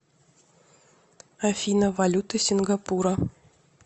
афина валюта сингапура